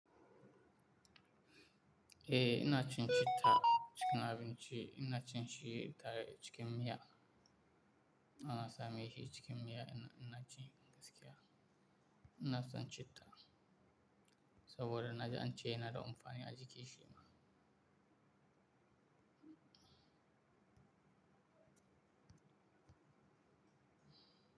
Eh ina cin citta cikin abinci, ina cin shi tare cikin miya. Ana sa min shi cikin miya ina, ina cin gaskiya. Ina son citta saboda na ji an ce yana da amfani a jiki shi ma.